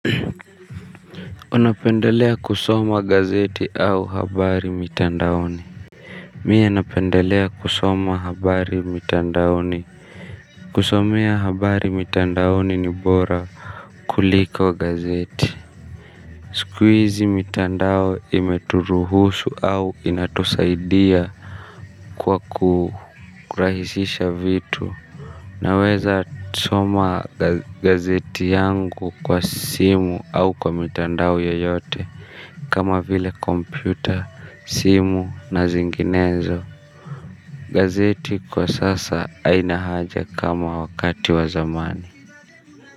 Unapendelea kusoma gazeti au habari mitandaoni. Miye napendelea kusoma habari mitandaoni. Kusomea habari mitandaoni ni bora kuliko gazeti. Siku hizi mitandao imeturuhusu au inatusaidia. Kwa kurahisisha vitu naweza soma gazeti yangu kwa simu au kwa mitandao yoyote kama vile kompyuta, simu na zinginezo. Gazeti kwa sasa haina haja kama wakati wa zamani.